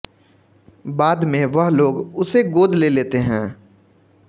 बाद में वह लोग उसे गोद ले लेते हैं